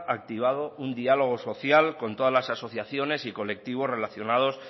activado un dialogo social con todas las asociaciones y colectivos relacionados